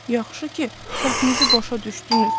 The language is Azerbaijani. Yaxşı ki, səhvinizi başa düşdünüz.